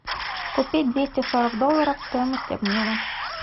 купить двести сорок долларов стоимость обмена